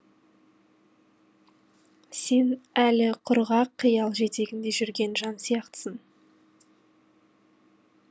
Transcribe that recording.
сен әлі құрғақ қиял жетегінде жүрген жан сияқтысың